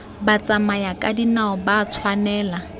batsamayakadinao ga ba a tshwanela